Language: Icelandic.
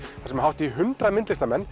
þar sem hátt í hundrað myndlistarmenn